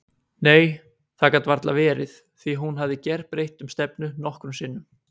Nei, það gat varla verið því hún hafði gerbreytt um stefnu nokkrum sinnum.